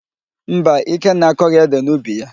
Mba, Ikenna akọghị édè n'ubi ya.